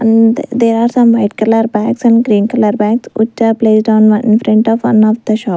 and there are some white colour bags and green colour bags which are placed on infront of one of the shop.